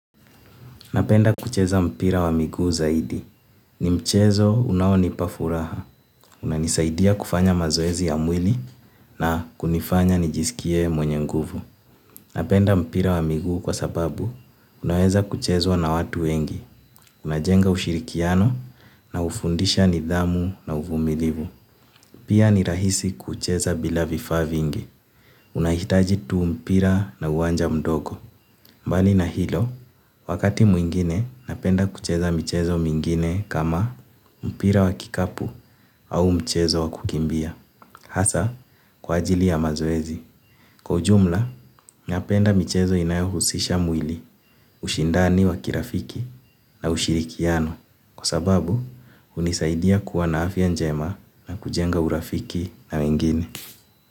Napenda kucheza mpira wa miguu zaidi. Ni mchezo unaonipa furaha. Una nisaidia kufanya mazoezi ya mwili na kunifanya nijisikie mwenye nguvu. Napenda mpira wa miguu kwa sababu unaweza kuchezwa na watu wengi. Una jenga ushirikiano na hufundisha nidhamu na uvumilivu. Pia ni rahisi kucheza bila vifaa vingi, unahitaji tu mpira na uwanja mdogo, mbali na hilo, wakati mwingine napenda kucheza mchezo mwingine kama mpira wakikapu au mchezo wakukimbia, hasa kwa ajili ya mazoezi. Kwa ujumla napenda michezo inayohusisha mwili, ushindani wa kirafiki na ushirikiano kwa sababu hunisaidia kuwa na afya njema na kujenga urafiki na wengine.